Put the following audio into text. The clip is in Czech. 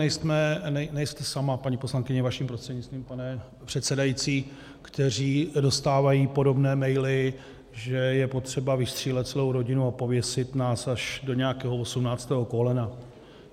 Nejste sama, paní poslankyně, vaším prostřednictvím, pane předsedající, která dostává podobné maily, že je potřeba vystřílet celou rodinu a pověsit nás až do nějakého osmnáctého kolena.